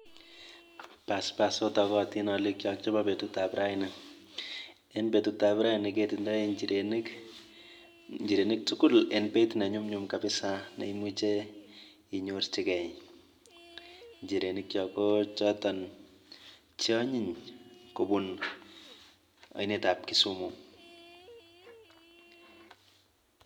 Ibwat ile ialdoichini aliik nchirenik, tos isaisai kolene asikoal?